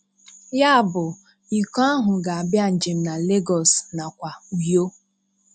Ya bụ iko ahụ ga-abịa njem na Legọs nakwa Uyo.